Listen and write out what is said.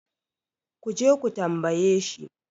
ku je ku tambaye shi?